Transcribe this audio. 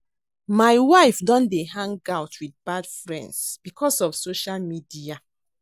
My wife don dey hang out with bad friends because of social media